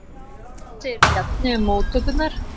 Hvað segir Bjarni um móttökurnar?